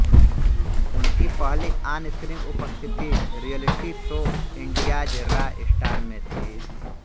उनकी पहली ऑनस्क्रीन उपस्थिति reality show India's raw star में थी